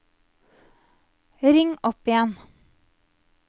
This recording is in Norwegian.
ring opp igjen